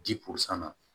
Di